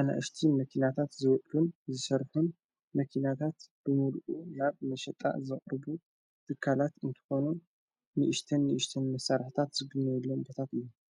ኣነእሽቲ መኪናታት ዝውድዱን ዝሰርኁን መኪናታት ብምሉኡ ናብ መሸጣ ዘቕርቡ ብካላት እንተኾኖ ንእሽተን ንእሽተን መሠራሕታት ዝግነየሎም በታት::